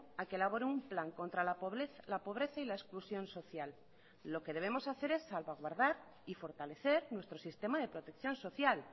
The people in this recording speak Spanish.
a que elabore un plan contra la pobreza y la exclusión social lo que debemos hacer es salvaguardar y fortalecer nuestro sistema de protección social